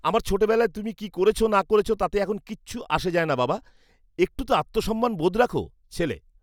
আমার ছোটবেলায় তুমি কি করেছ না করেছ তাতে এখন কিছু যায় আসে না, বাবা। একটু তো আত্মসম্মান বোধ রাখো! ছেলে